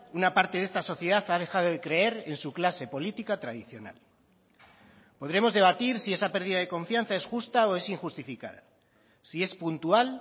una parte de esta sociedad ha dejado de creer en su clase política tradicional podremos debatir si esa pérdida de confianza es justa o es injustificada si es puntual